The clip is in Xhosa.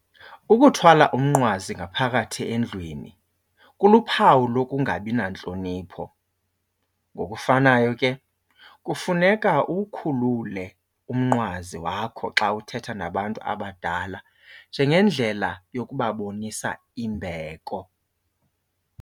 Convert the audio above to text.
Ukuthwala umnqwazi ngaphakathi endlwini kuluphawu lokungabi nantlonipho. Ngokufanayo ke kufuneka uwukhulule umnqwazi wakho xa uthetha nabantu abadala njengendlela yokubabonisa imbeko.